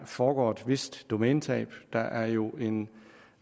foregår et vist domænetab der er jo en